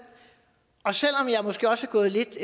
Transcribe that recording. og selv om jeg måske også er gået lidt